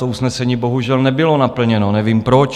To usnesení bohužel nebylo naplněno, nevím proč.